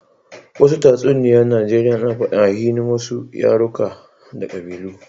Wasu tatsuniya Najeriya ana fadin aininhin wasu yaruruka da kabilu.